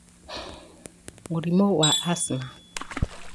Mũrimũ wa Asthma;